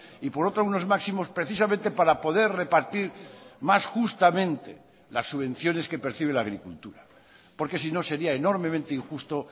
y por otro unos máximos precisamente para poder repartir más justamente las subvenciones que percibe la agricultura porque si no sería enormemente injusto